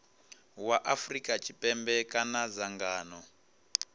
wa afrika tshipembe kana dzangano